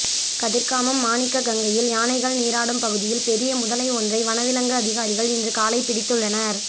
கதிர்காமம் மாணிக்ககங்கையில் யானைகள் நீராடும் பகுதியில் பெரிய முதலை ஒன்றை வனவிலங்கு அதிகாரிகள் இன்று காலை பிடித்துள்ளனர்